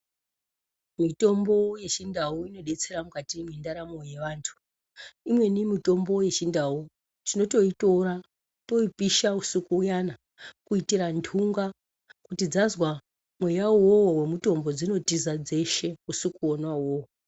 Mitombo yechindau inodetsera mukati mwendaramo yevantu. Imweni mitombo yechindau tinotoitora toipisha usiku uyana kuitira ntunga kuti dzazwa mweyawo iwowo wemutombo dzinotiza dzeshe usiku wonawo iwowo.